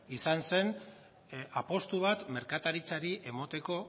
izan zen apustu bat merkataritzari emateko